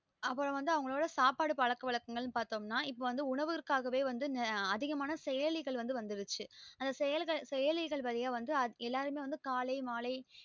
அப்புறம் வந்து அவங்களோட சாப்பாடு பழக்க வழக்கங்கள் பாத்தொம்ன்னா இப்ப உணவிற்காகவே அதிகமான செயலிகள் வந்துருச்சு அந்த செயலிகல் அந்த செயலிகள் மூலம் வந்து எல்லாருமே வந்து காலை மாலை